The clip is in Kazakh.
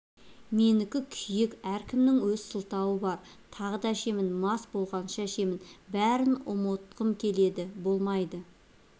менікі күйік әркімнің өз сылтауы бар тағы да ішемін мас болғанша ішемін бәрін ұмытқым келеді болмайды